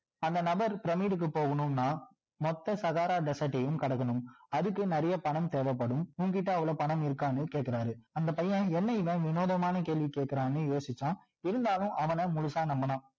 அந்த நமர் பிரமிடுக்கு போகணும்னா மொத்த சகாரா desert டையும் கடக்கணும் அதுக்கு நிறைய பணம் தேவைப்படும் உன் கிட்ட அவ்வளோ பணம் இருக்கான்னு கேக்குறாரு அந்த பையன் என்ன இவன் வினோதமான கேள்வி கேக்குறான்னு யோசிச்சான் இருந்தாலும் அவன முழுசா நம்புனான்